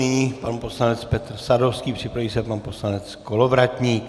Nyní pan poslanec Petr Sadovský, připraví se pan poslanec Kolovratník.